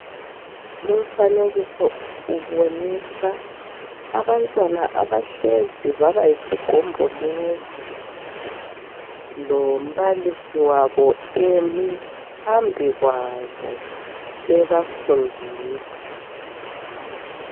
Lumfanekiso ubonisa abantwana abahlezi baba yisigombolozi, lombalisi wabo emi phambi kwabo ebafundisa.